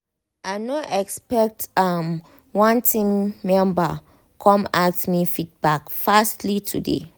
i no expect am one my team member come ask me feedback fastly today